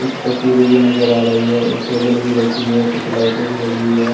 कुछ तस्वीरें भी नजर आ रही है एक टेबल भी रखी हुई है कुछ लाइटें भी लगी हुई है।